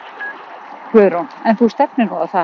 Guðrún: En þú stefnir nú á það?